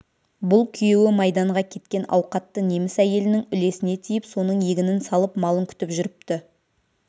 бұл күйеуі майданға кеткен ауқатты неміс әйелінің үлесіне тиіп соның егінін салып малын күтіп жүріпті